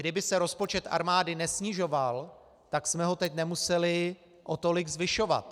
Kdyby se rozpočet armády nesnižoval, tak jsme ho teď nemuseli o tolik zvyšovat.